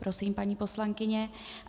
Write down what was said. Prosím, paní poslankyně.